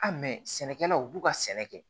A mɛ sɛnɛkɛlaw u b'u ka sɛnɛ kɛ